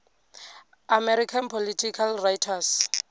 american political writers